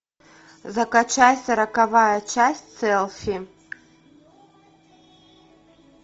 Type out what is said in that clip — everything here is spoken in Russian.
закачай сороковая часть селфи